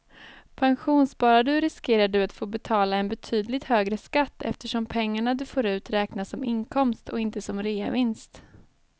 Pensionssparar du riskerar du att få betala en betydligt högre skatt eftersom pengarna du får ut räknas som inkomst och inte som reavinst.